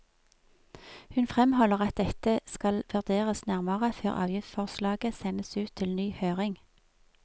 Hun fremholder at dette skal vurderes nærmere før avgiftsforslaget sendes ut til ny høring.